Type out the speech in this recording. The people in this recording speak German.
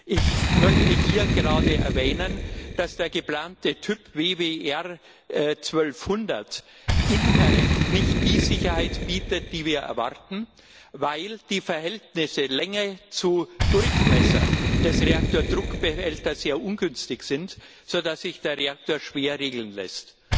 Ich möchte hier gerade erwähnen, dass der geplante Typ WWER 1200 inhärent nicht die Sicherheit bietet, die wir erwarten, weil das Verhältnis Länge zu Durchmesser des Reaktordruckbehälters sehr ungünstig ist, sodass sich der Reaktor schwer regeln lässt.